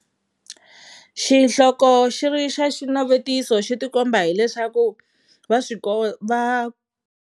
Xihloko xi ri xa xinavetiso xi tikomba hileswaku va swi va.